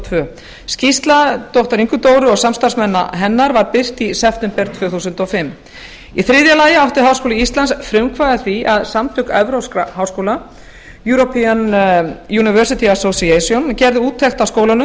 tvö skýrsla doktor ingu dóru og samstarfsmanna hennar var birt í september tvö þúsund og fimm í þriðja lagi átti háskóli íslands frumkvæði að því að samtök evrópskra háskóla gerðu úttekt á skólanum